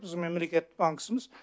біз мемлекет банкісіміз